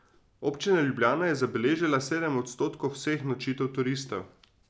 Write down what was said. Občina Ljubljana je zabeležila sedem odstotkov vseh nočitev turistov.